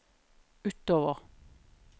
utover